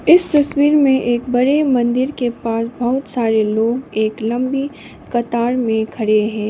इस तस्वीर में एक बड़े मंदिर के पास बहोत सारे लोग एक लंबी कतार में खड़े हैं।